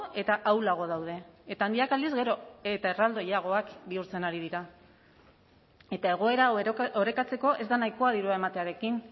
eta ahulago daude eta handiak aldiz gero eta erraldoiagoak bihurtzen ari dira eta egoera hau orekatzeko ez da nahikoa dirua ematearekin